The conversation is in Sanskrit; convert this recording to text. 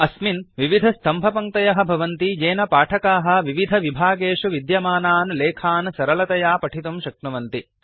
अस्मिन् विविधस्तम्भपङ्क्तयः भवन्ति येन पाठकाः विविधविभागेषु विद्यमानान् लेखान् सरलतया पठितुं शक्नुवन्ति